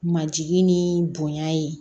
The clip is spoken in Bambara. Majigin ni bonya ye